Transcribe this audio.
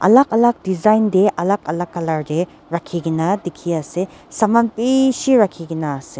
alak alak design tae alak alak colour tae rakhina dikhiase saman bishi rakhikaena ase.